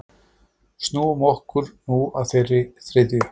Snúum okkur nú að þeirri þriðju.